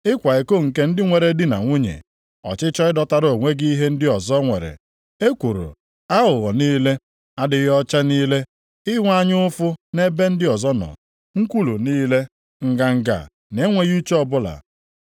ịkwa iko nke ndị nwere di na nwunye, ọchịchọ ịdọtara onwe gị ihe ndị ọzọ nwere, ekworo, aghụghọ niile, adịghị ọcha niile, inwe anya ụfụ nʼebe ndị ọzọ nọ, nkwulu niile, nganga na enweghị uche ọbụla.